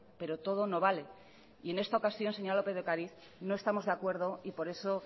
pero todo no vale y en esta ocasión señora lópez de ocariz no estamos de acuerdo por eso